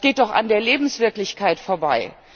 Das geht doch an der Lebenswirklichkeit vorbei!